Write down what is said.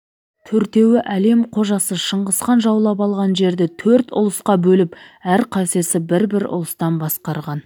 төртеуі әлем қожасы шыңғысхан жаулап алған жерді төрт ұлысқа бөліп әрқайсысы бір-бір ұлыстан басқарған